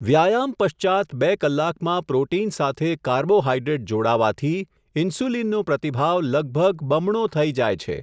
વ્યાયામ પશ્ચાત્ બે કલાકમાં પ્રોટીન સાથે કાર્બોહાઈડ્રેટ જોડાવાથી, ઈન્સ્યુલિનનો પ્રતિભાવ લગભગ બમણો થઈ જાય છે.